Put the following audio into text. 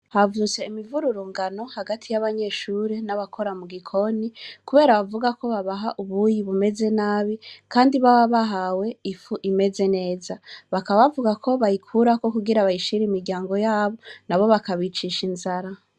Havutse imuvururungano hagati y'abanyeshure n'abakora mugikoni kubera bavuga ko babaha ubuyi bumeze nabi kandi baba bahawe ifu imeze neza. Bakaba bavuga yuko bayikurako kugira bayishire imiryango yabo nabo bakabicisha inzara.